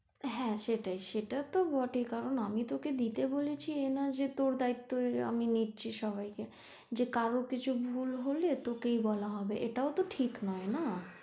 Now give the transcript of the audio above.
হ্যাঁ সেটাই সেটা তো বটেই কারন আমি তোকে দিতে বলেছি তো এটা নয় যে তোর দায়িত্ব হয়ে আমি নিচ্ছি সবাই কে যে কারর কিছু ভুল হলে তোকেই বলা হবে এটা তো ঠিক নয় না?